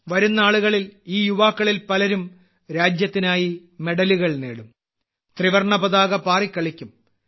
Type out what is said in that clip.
വരും നാളുകളിൽ ഈ യുവാക്കളിൽ പലരും രാജ്യത്തിനായി മെഡലുകൾ നേടും ത്രിവർണ്ണ പതാക പാറി കളിക്കും